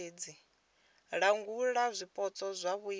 langula zwipotso kha vhuimo ha